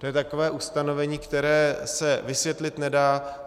To je takové ustanovení, které se vysvětlit nedá.